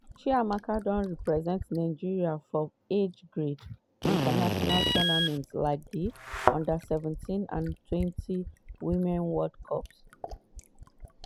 chiamaka don represent nigeria for age grade international tournaments like di under seventeenandtwentywomen's world cup.